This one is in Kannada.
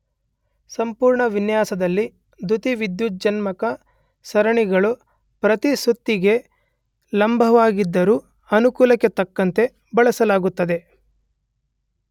ಸಂಪೂರ್ಣ ವಿನ್ಯಾಸದಲ್ಲಿ ದ್ಯುತಿವಿದ್ಯುಜ್ಜನಕ ಸರಣಿಗಳು ಪ್ರತಿ ಸುತ್ತಿಗೆ ಲಂಬವಾಗಿದ್ದರೂ ಅನುಕೂಲಕ್ಕೆ ತಕ್ಕಂತೆ ಬಳಸಲಾಗುತ್ತದೆ